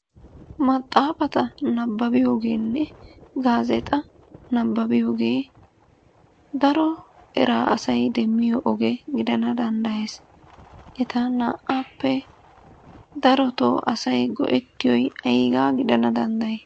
Maxxaafata nabbabbiyogeenne gaazeexa nabbabbiyoogee daro eraa asay demmiyo oge gidana danddayes. Eta naa"aappe darotoo asay go'ettiyoy ayigaa gidana danddayi?